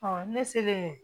ne selen